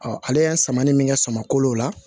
ale ye samani min kɛ samako la